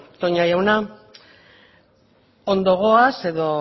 toña jauna ondo goaz edo